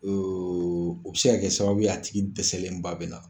o bɛ se ka kɛ sababu ye a tigi dɛsɛlen ba bɛ na